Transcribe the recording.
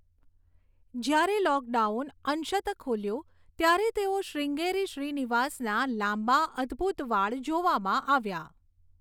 જ્યારે લૉકડાઉન અંશત ખૂલ્યું, ત્યારે તેઓ શ્રીંગેરી શ્રીનિવાસના લાંબા, અદ્ભૂત વાળ જોવામાં આવ્યા.